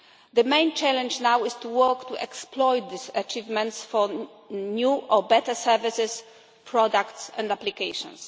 The main challenge now is to work to exploit these achievements for new or better services, products and applications.